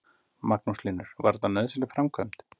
Magnús Hlynur: Var þetta nauðsynleg framkvæmd?